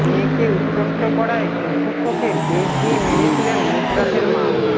মেয়েকে উত্ত্যক্ত করায় অধ্যক্ষকে বেত দিয়ে মেরেছিলেন নুসরাতের মা